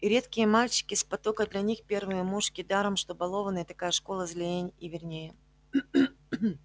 и редкие мальчики с потока для них первые мушки даром что балованные такая школа злей и вернее